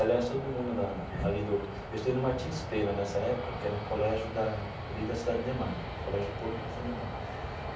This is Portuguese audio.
Aliás, todo mundo da ali do... Eu estudei no Martins Pena nessa época, que é um colégio da ali da Cidade Ademar, Colégio Público da Cidade Ademar.